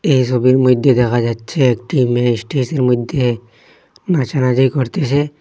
এই সোবির মইধ্যে দেখা যাচ্ছে একটি মেয়ে স্টেজের মইধ্যে নাচানাচি করতেছে।